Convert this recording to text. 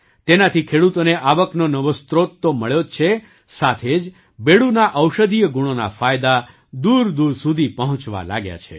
તેનાથી ખેડૂતોને આવકનો નવો સ્રોત તો મળ્યો જ છે સાથે જ બેડૂના ઔષધીય ગુણોના ફાયદા દૂરદૂર સુધી પહોંચવા લાગ્યા છે